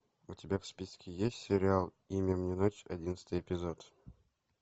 у тебя в списке есть сериал имя мне ночь одиннадцатый эпизод